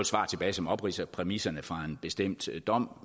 svar tilbage som opridser præmisserne fra en bestemt dom